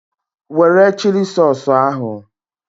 Were chili sausụ ahụ!